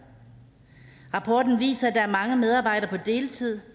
rapporten viser at der er mange medarbejdere på deltid